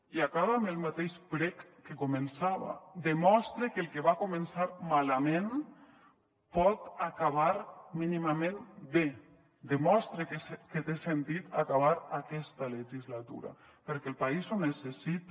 i acabe amb el mateix prec que començava demostre que el que va començar malament pot acabar mínimament bé demostre que té sentit acabar aquesta legislatura perquè el país ho necessita